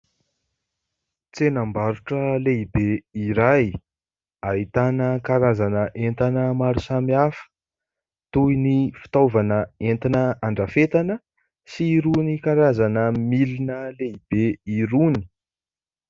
Tsenam-barotra lehibe iray ahitana karazana entana maro samihafa toy ny fitaovana entina andrafetana sy irony karazana milina lehibe irony.